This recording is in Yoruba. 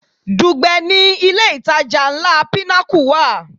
Dùgbẹ̀ ni ilé ìtajà ńlá Pinnacle wà.